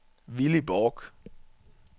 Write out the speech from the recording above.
Villy Borch